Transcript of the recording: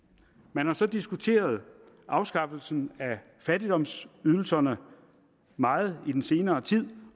man har så diskuteret afskaffelsen af fattigdomsydelserne meget i den senere tid